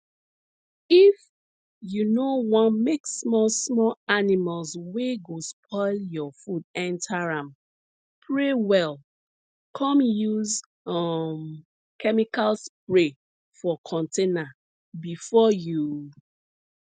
if you no wan make small small animals wey go spoil your food enter am pray well come use um chemical spray for container before you